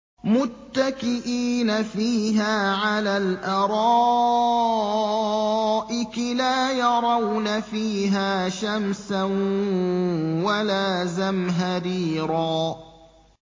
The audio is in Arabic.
مُّتَّكِئِينَ فِيهَا عَلَى الْأَرَائِكِ ۖ لَا يَرَوْنَ فِيهَا شَمْسًا وَلَا زَمْهَرِيرًا